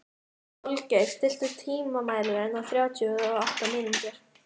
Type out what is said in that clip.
Holgeir, stilltu tímamælinn á þrjátíu og átta mínútur.